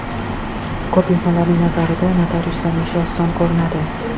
Ko‘p insonlarning nazarida notariuslarning ishi oson ko‘rinadi.